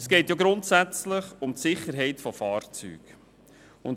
– Es geht grundsätzlich um die Sicherheit von Fahrzeugen.